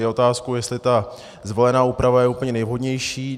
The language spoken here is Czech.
Je otázkou, jestli ta zvolená úprava je úplně nejvhodnější.